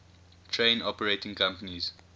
train operating companies